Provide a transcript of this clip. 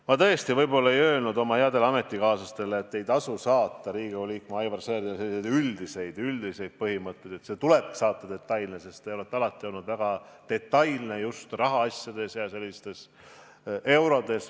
Ma tõesti võib-olla ei öelnud oma headele ametikaaslastele, et ei tasu saata Riigikogu liikmele Aivar Sõerdile selliseid üldiseid põhimõtteid, vaid et teile tuleb saata detaile, sest te olete alati olnud väga detailne, just rahaasjades.